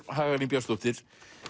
Hagalín Björnsdóttir